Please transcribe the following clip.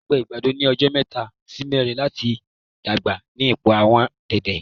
Ó gba àgbàdo ní ọjọ mẹ́ta sì mẹrin láti dàgbà lábẹ́ àwọn ipò déédéé